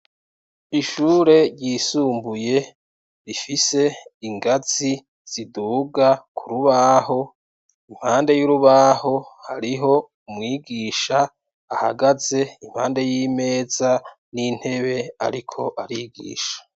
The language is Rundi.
Ishure ryisumbuye rifise ingazi ziduga ku rubaho impande y'urubaho hariho umwigisha ahagaze impande y'imeza n'intebe, ariko arigisha.